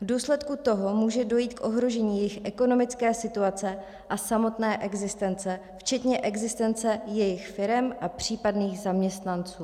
V důsledku toho může dojít k ohrožení jejich ekonomické situace a samotné existence včetně existence jejich firem a případných zaměstnanců.